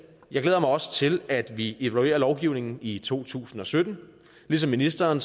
jeg glæder mig også til at vi evaluerer lovgivningen i to tusind og sytten ligesom ministeren